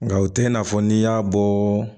Nka o tɛ i n'a fɔ n'i y'a bɔ